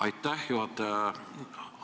Aitäh, juhataja!